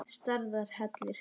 Stærðar hellir?